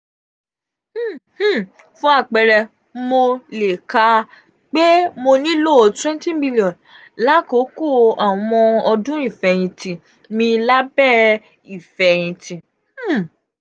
um um fun apẹẹrẹ mo um le ka pe mo nilo twenty m lakoko awọn ọdun ifẹhinti mi labẹ um ifẹhinti.